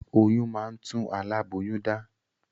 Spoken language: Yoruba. Oyún máa ń tún alaboyun dá